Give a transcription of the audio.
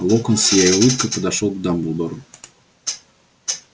локонс сияя улыбкой подошёл к дамблдору